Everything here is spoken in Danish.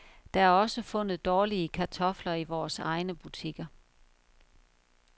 Der er også fundet dårlige kartofler i vores egne butikker.